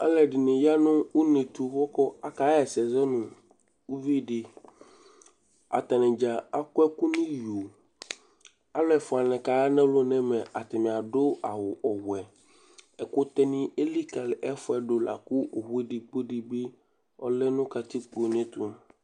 aluedini yanu unetũ huku akaẽssẽ zɔnũ uvidï atanidza akɔẽku niyó́́́́ aluefua nikaya nalɔnu nɛmɛa atani'adu awu ɔwẽ ɛkutɛni élikali ɛfuɛdu laku owu'edigbo dibi ɔlɛ nu katikpo neyẽtũ